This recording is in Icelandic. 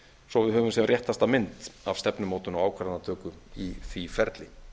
svo við höfum sem réttasta mynd af stefnumótun og ákvarðanatöku í því ferli